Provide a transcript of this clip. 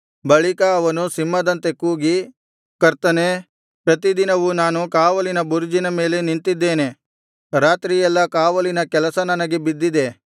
ಬಳಿಕ ಅವನು ಸಿಂಹದಂತೆ ಕೂಗಿ ಕರ್ತನೇ ಪ್ರತಿ ದಿನವು ನಾನು ಕಾವಲಿನ ಬುರುಜಿನ ಮೇಲೆ ನಿಂತಿದ್ದೇನೆ ರಾತ್ರಿಯೆಲ್ಲಾ ಕಾವಲಿನ ಕೆಲಸ ನನಗೆ ಬಿದ್ದಿದೆ